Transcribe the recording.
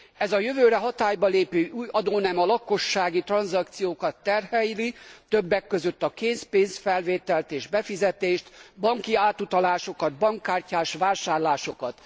Ez a jövőre hatályba lépő új adónem a lakossági tranzakciókat terheli, többek között a készpénzfelvételt és befizetést, banki átutalásokat, bankkártyás vásárlásokat.